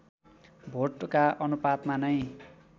vodka अनुपातमा नै